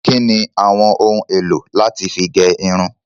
Kíni àwọn ohun èlò láti fí gẹ irun?